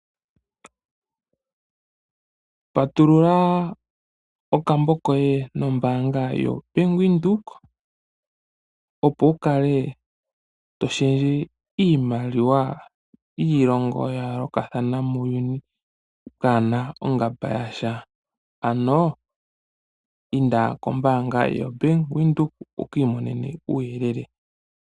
Patulula okambo koye nombaanga yobank Windhoek, opo wu kale to shendje iimaliwa yiilongo ya yooloka ano inda kobank Windhoek wukiimonene uuyelele.